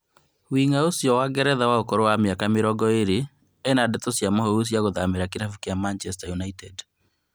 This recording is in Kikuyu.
Wing'a ũcio wa Ngeretha wa ũkũrũ wa mĩaka mĩrongo ĩrĩ nĩa na ndeto cia mũhuhu cia gũthamĩra kĩrabu gĩa Manchester United